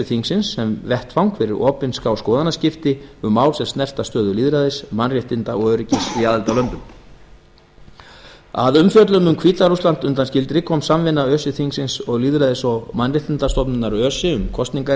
þingsins sem vettvang fyrir opinská skoðanaskipta um mál sem snerta stöðu lýðræðis mannréttinda og öryggis í aðildarlöndunum að umfjöllun um hvíta rússland undanskildri kom samvinna öse þingsins og lýðræðis og mannréttindastofnunar öse um